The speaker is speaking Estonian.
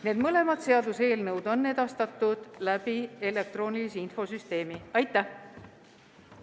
Need mõlemad seaduseelnõud on edastatud elektroonilise infosüsteemi kaudu.